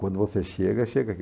Quando você chega, chega aqui.